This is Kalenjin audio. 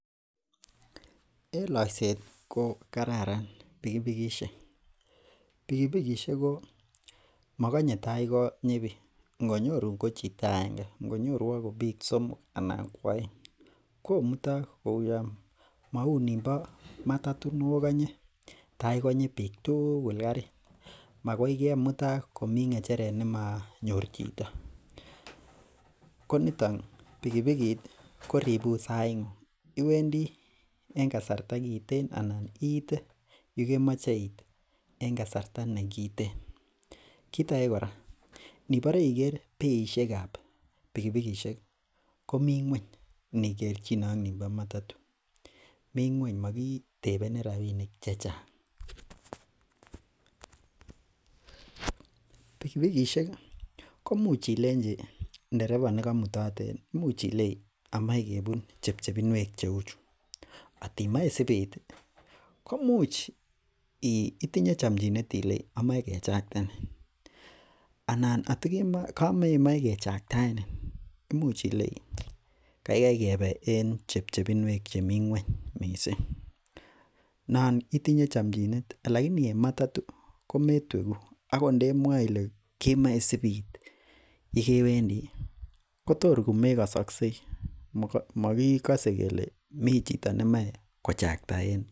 En loiset ko kararan pikipikisiek, pikipikisiek ko mogonye tai konyi bik ngonyorun ko chito aenge , ngonyoruak ko bik somok anan ko aeng komutok mauyon, maunibo matatu nokanye tai konyi bik tugul karit, makoi kemutak komi ng'echeret nemanyor chito, ko nito pikipikit koribun sait iwendii en kasarta kiteen anan iite yukemoche iit en kasarta ne kiten. Kit age kora inebore iker beisiekab pikipikisiek ko mi ng'uany inikerchine ak nimbo matatu.mi ng'uany mogi tebeni rabinik chechang pikipikisiek komuch ilenchi ndereba nikoimutin imuch ilei amoe kebun chepchepinwek cheuchu, kotimoche isipiit itinye chamchinet ilei imoe kechakten anan atokamemoe kechaktaenin , imuch ilei kaikai kebe en chepchepinwek chimi ng'uany missing, noon itinye chamchinet laini en matatu kometwegu akot ndeimwae Ile kemoe isipiit yekewendi ko tor komekasaksei, mokikase kele mi chi nemoe kochakta en yu